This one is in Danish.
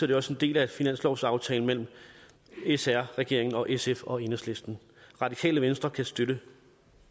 det også en del af finanslovsaftalen mellem sr regeringen og sf og enhedslisten radikale venstre kan støtte